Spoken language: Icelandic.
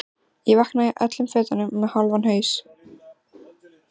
Ég vaknaði í öllum fötunum með hálfan haus.